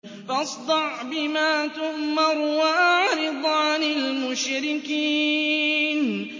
فَاصْدَعْ بِمَا تُؤْمَرُ وَأَعْرِضْ عَنِ الْمُشْرِكِينَ